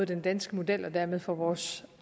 den danske model og dermed for vores